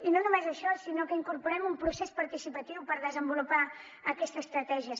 i no només això sinó que incorporem un procés participatiu per desenvolupar aquesta estratègia